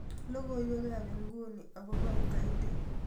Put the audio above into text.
logoiwek ab inguni agopo ugaidi